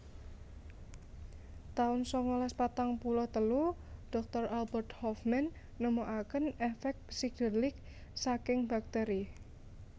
taun sangalas patang puluh telu Doktor Albert Hofmann nemokaken èfèk psikedélik saking bakteri